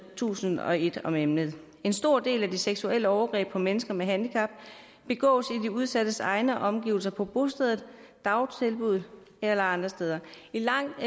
tusind og et om emnet en stor del af de seksuelle overgreb på mennesker med handicap begås i de udsattes egne omgivelser på bostedet dagtilbuddet eller andre steder i langt